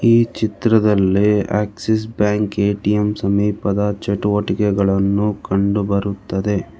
ಈ ಚಿತ್ರದಲ್ಲಿ Axis bank ATM ಸಮೀಪದ ಚಟುವಟಿಕೆಗಳನ್ನು ಕಂಡುಬರುತ್ತದೆ.